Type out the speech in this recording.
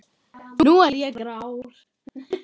Nú er ég grár.